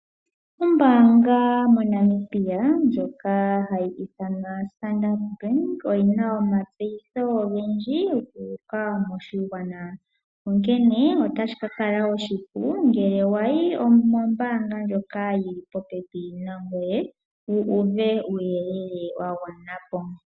Ombaanga moNamibia ndjoka hayi ithanwa Standard bank oyina oma tseyitho ogendji guuka moshigwana, onkene otashi ka kala oshipu ngele wayi mombaanga ndjoka yili po pepi nangoye, wu uve uuyelele wa gwana po.